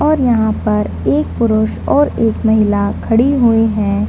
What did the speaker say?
और यहाँ पर एक पुरुष और एक महिला खड़ी हुई है।